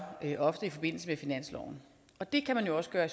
ofte i forbindelse med finansloven og det kan man jo også gøre i